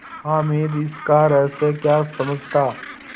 हामिद इसका रहस्य क्या समझता